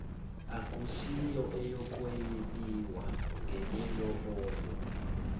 akusiyo eyokwebiwa ngeyelobolo